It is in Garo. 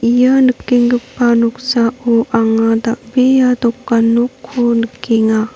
ia nikenggipa noksao anga dal·bea dokan nokko nikenga.